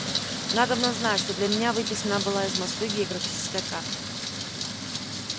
надобно знать что для меня выписана была из москвы географическая карта